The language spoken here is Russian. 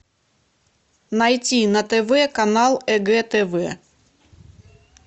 найти на тв канал егэ тв